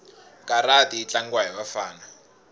karati yitlangiwa hhivafana